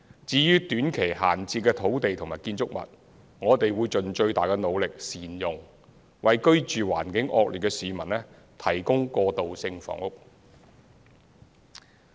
至於短期閒置的土地及建築群，我們會盡最大的努力善用，為居住環境惡劣的市民提供過渡性房屋。